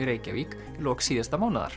Reykjavík í lok síðasta mánaðar